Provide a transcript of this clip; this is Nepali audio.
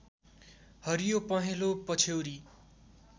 हरियो पहेँलो पछ्यौरी